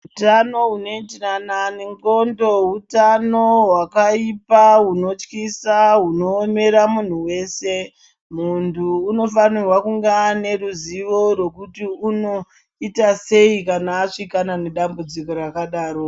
Utano hunoitirana nendxondo hutano hwakaipa hunotyisa hunoomera munhu wese munthu unofanirwa kunge ane ruzivo rwekuti unoita sei kana asvikana nedambudziko rakadaro.